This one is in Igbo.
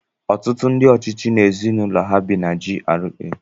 Ọtụtụ ndị ọchịchị na ezinụlọ ha bi na GRA.